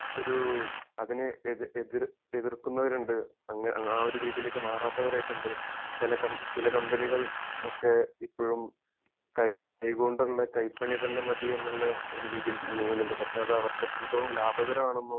ഒരു അതിന് എതിർ എതിർക്കുന്നവരുണ്ട് ആ ഒരു രീതിയിലേക്ക് മാറാത്തവരായിട്ടുണ്ട് ചെല ചില കമ്പനികൾ ഒക്കെ ഇപ്പോഴും കൈകൊണ്ടുള്ള കൈപ്പണി തന്നെ മതി എന്നുള്ള ഒരു രീതിയിൽ നീങ്ങുന്നുണ്ട് പക്ഷെ അത് അവർക്ക് എത്രത്തോളം ലാഭകരമാണെന്നോ